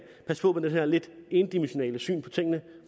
passe på med det her lidt endimensionale syn på tingene